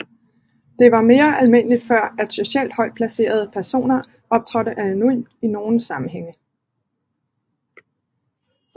Det var mere almindeligt før at socialt højt placerede personer optrådte anonymt i nogen sammenhænge